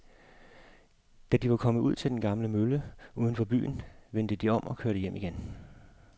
Da de var kommet ud til den gamle mølle uden for byen, vendte de om og kørte hjem igen.